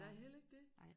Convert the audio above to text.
Nej heller ikke det